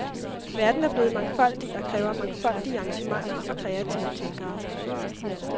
Verden er blevet mangfoldig og kræver mangfoldige arrangementer og kreative tænkere.